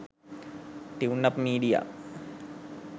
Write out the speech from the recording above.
tuneup media